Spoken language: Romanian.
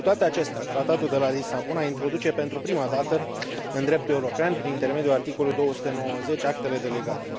Cu toate acestea, Tratatul de la Lisabona introduce pentru prima dată în dreptul european, prin intermediul articolului 290, actele delegate.